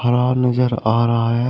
पहार नजर आ रहा है।